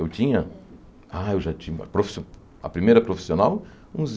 Eu tinha ah eu já tinha profissio... a primeira profissional, uns